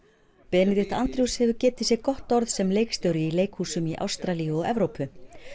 benedict Andrews hefur getið sér gott orð sem leikstjóri í leikhúsum í Ástralíu og Evrópu